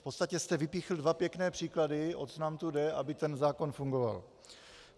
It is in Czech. V podstatě jste vypíchli dva pěkné příklady, o co nám tu jde, aby ten zákon fungoval.